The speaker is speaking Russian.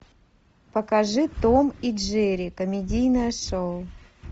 покажи том и джерри комедийное шоу